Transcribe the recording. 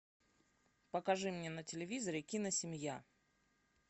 покажи мне на телевизоре киносемья